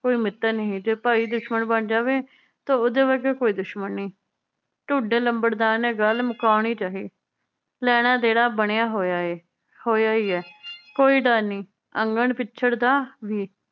ਕੋਈ ਮਿੱਤਰ ਨਹੀ ਜੇ ਭਾਈ ਦੁਸ਼ਮਣ ਬਣ ਜਾਵੇ ਤਾਂ ਓਦੇ ਵਰਗਾ ਕੋਈ ਦੁਸ਼ਮਣ ਨੀ। ਢੂਡ ਲੰਬੜਦਾਰ ਨੇ ਗੱਲ ਮੁਕਾਣੀ ਚਾਹੀ ਲੈਣਾ ਦੇਣਾ ਬਣਿਆ ਹੋਇਆ ਏ ਹੋਇਆ ਈ ਏ ਕੋਈ ਡਰ ਨੀ ਅੰਗਣ ਪਿੱਛੜ ਦਾ ਵੀ